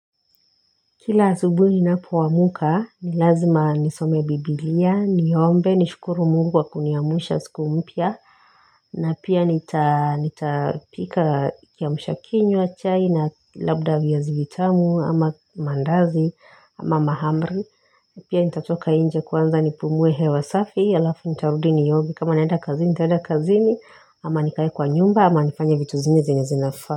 Kila asubuhi ninapoamka, ni lazima nisome biblia, niombe, nishukuru mungu kwa kuniamsha, siku mpya na pia nitapika kiamshakinywa chai na labda viazi vitamu, ama mandazi, ama mahamri Pia nitatoka nje kwanza nipumuwe hewa safi, alafu nitarudi nioge kama naenda kazini, nitaenda kazini, ama nikae kwa nyumba, ama nifanya vitu zingine zenye zinafaa.